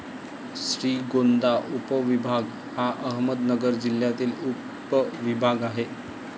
श्रीगोंदा उपविभाग हा अहमदनगर जिल्ह्यातील उपविभाग आहे.